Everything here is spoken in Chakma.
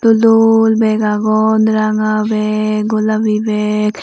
dol bag agon ranga bag golabi bag.